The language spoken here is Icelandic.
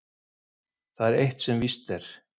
Það er eitt sem víst er.